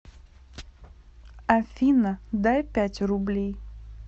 афина дай пять рублей